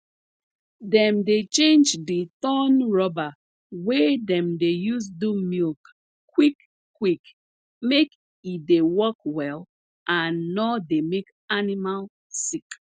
dem dey change d torn rubber wey dem dey use do milk quick quick make e dey work well and nor dey make animal sick